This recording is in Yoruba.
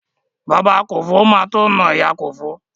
Bàbá Kòfó má tó na ìyá Kòfó.